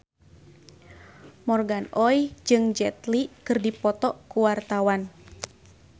Morgan Oey jeung Jet Li keur dipoto ku wartawan